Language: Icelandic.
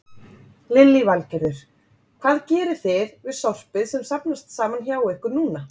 Lillý Valgerður: Hvað gerið þið við sorpið sem safnast saman hjá ykkur núna?